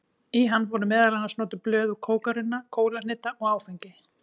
Í hann voru meðal annars notuð blöð úr kókarunna, kólahneta og áfengi.